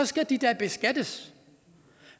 skal de da beskattes